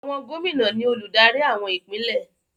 Àwọn gómìnà ni olùdarí àwọn ìpínlẹ̀.